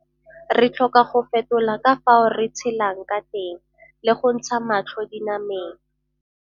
Re tlhoka go fetola ka fao re tshelang ka teng le go ntsha matlho dinameng.